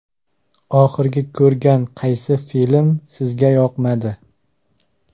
Oxirgi ko‘rgan qaysi film sizga yoqmadi?.